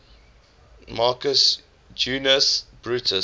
marcus junius brutus